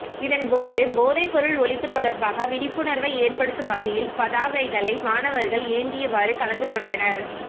இதன் போது போதைப்பொருள் ஒழிப்பு தொடர்பாக விழிப்புணர்வை ஏற்படுத்தும் வகையில் பதாகைகளை மாணவர்கள் ஏந்தியவாறு கலந்துகொண்டனர்